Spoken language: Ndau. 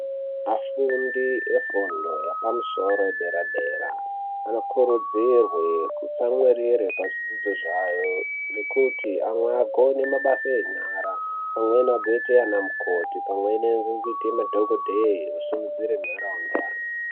Vafundi vefundo dzepadera dera anokurudzirwa kutsamwirira pazvidzidzo zvavo kuti amwe vagone mabasa enyara .Vamwe vanozoita madhokodheya vamwe vozoita vana mukoti kusimudzira nharaunda.